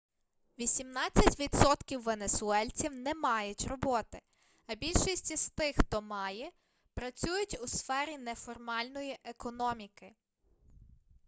вісімнадцять відсотків венесуельців не мають роботи а більшість із тих хто має працюють у сфері неформальної економіки